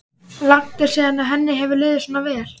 Langt er síðan henni hefur liðið svona vel.